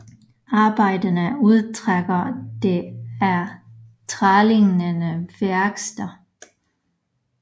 Arbejderne udtrækker det af trælignende vækster